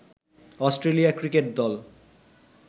Australia cricket দল